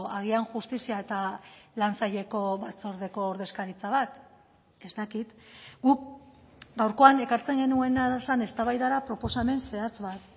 agian justizia eta lan saileko batzordeko ordezkaritza bat ez dakit guk gaurkoan ekartzen genuena zen eztabaidara proposamen zehatz bat